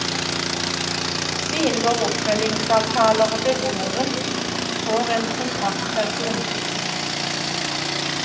Vi inngår oppfølgingsavtaler og beboeren får en kontaktperson.